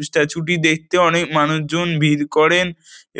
এই স্ট্যাচু -টি দেখতে অনেক মানুষজন ভিড় করেন